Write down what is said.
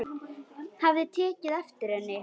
Hafði tekið eftir henni.